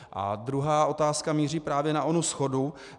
A druhá otázka míří právě na onu shodu.